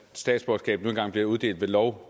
statsborgerskab nu engang bliver uddelt ved lov